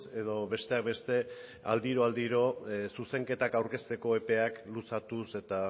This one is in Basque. edo besteak beste aldiro aldiro zuzenketak aurkezteko epea luzatuz eta